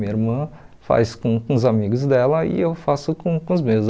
Minha irmã faz com com os amigos dela e eu faço com com os meus.